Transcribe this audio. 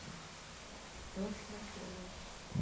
Nossa, que bacana.